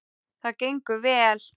Það gengur vel.